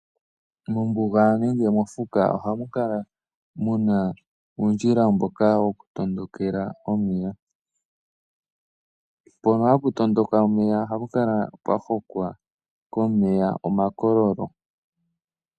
Mombuga nenge mofuka ohamu kala muna uundjila mboka woku tondokela omeya. Mpono hapu tondokele omeya ohapu kala pwa hokwa komeya omakoyolo.